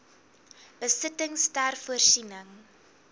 besittings ter voorsiening